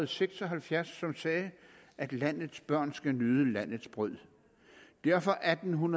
seks og halvfjerds som sagde at landets børn skal nyde landets brød derfor atten